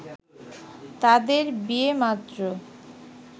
তাদের বিয়ে মাত্র